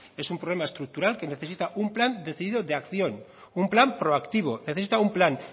es un problema estructural que necesita un plan decidido de acción un plan proactivo necesita un plan